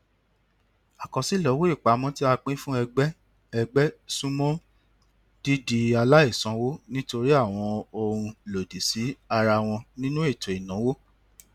àkọsílẹ owó ìpamọ tí a pín fún ẹgbẹ ẹgbẹ sún mọ dídi aláìsanwó nítorí àwọn ohun lòdì sí ara wọn nínú ètò ìnáwó